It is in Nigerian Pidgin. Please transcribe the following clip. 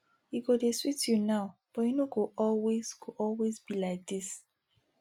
e go dey sweet you now but e no go always go always be like dis